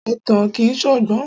Ẹ̀tàn kìí ṣọgbọ́n.